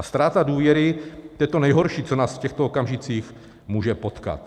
A ztráta důvěry, to je to nejhorší, co nás v těchto okamžicích může potkat.